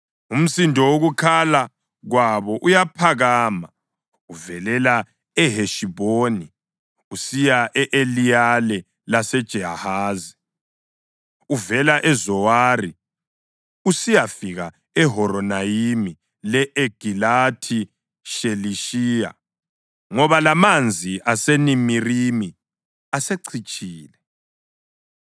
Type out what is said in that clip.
Umsindo wokukhala kwabo uyaphakama uvelela eHeshibhoni usiya e-Eliyale laseJahazi, uvela eZowari usiyafika eHoronayimi le-Egilathi Shelishiya, ngoba lamanzi aseNimirimi asecitshile.